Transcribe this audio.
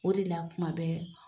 O de la kuma bɛɛ.